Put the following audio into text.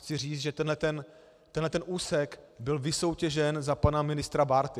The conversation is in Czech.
Chci říct, že tento úsek byl vysoutěžen za pana ministra Bárty.